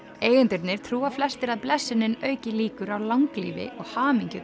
eigendurnir trúa flestir að blessunin auki líkur á langlífi og hamingju